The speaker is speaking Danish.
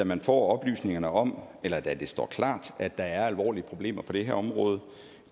man får oplysningerne om eller da det står klart at der er alvorlige problemer på det her område